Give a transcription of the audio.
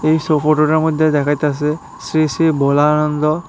এই ফটোটার মধ্যে দেখাইতাছে শ্রী শ্রী ভোলানন্দ।